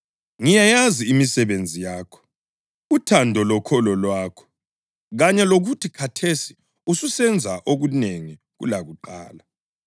Ngiyayazi imisebenzi yakho, uthando lokholo lwakho, kanye lokuthi khathesi ususenza okunengi kulakuqala.